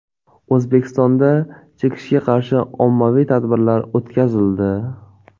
O‘zbekistonda chekishga qarshi ommaviy tadbirlar o‘tkazildi.